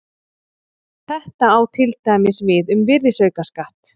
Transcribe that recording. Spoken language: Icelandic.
Þetta á til dæmis við um virðisaukaskatt.